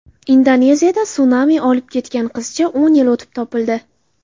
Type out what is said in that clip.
Indoneziyada sunami olib ketgan qizcha o‘n yil o‘tib, topildi.